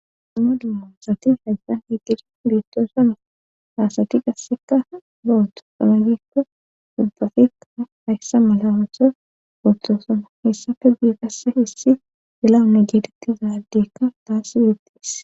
Duma dummasati haggan heggidi biittoosana haasati qasseka bo7otu samayikko dubbafikka hayssa mala osa ottoosana hessafe biiqasse hissi dilawunne geetettizaaddekka daassi iettis.